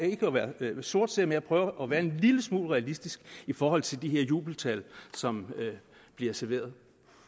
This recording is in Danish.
ikke at være sortseer men jeg prøver at være en lille smule realistisk i forhold til de her jubeltal som bliver serveret